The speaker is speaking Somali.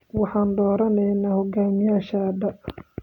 Waxaan dooraneynaa hoggaamiyeyaashayada